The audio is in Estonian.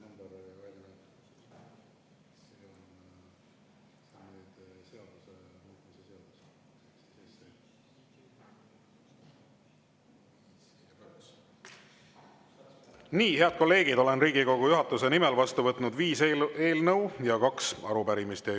Nii, head kolleegid, olen Riigikogu juhatuse nimel vastu võtnud viis eelnõu ja kaks arupärimist.